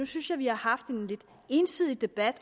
synes jeg vi har haft en lidt ensidig debat